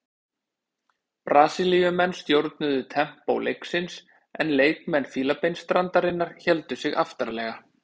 Brasilíumenn stjórnuðu tempó leiksins en leikmenn Fílabeinsstrandarinnar héldu sig aftarlega.